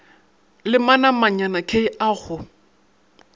le manamanyana k a go